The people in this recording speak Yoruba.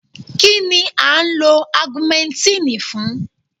Kínni à ń lo Augumentínì fún?